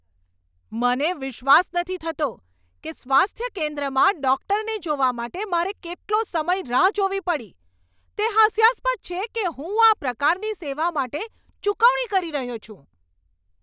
મને વિશ્વાસ નથી થતો કે સ્વાસ્થ્ય કેન્દ્રમાં ડૉક્ટરને જોવા માટે મારે કેટલો સમય રાહ જોવી પડી! તે હાસ્યાસ્પદ છે કે હું આ પ્રકારની સેવા માટે ચૂકવણી કરી રહ્યો છું.